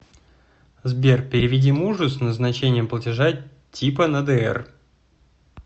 сбер переведи мужу с назначением платежа типа на др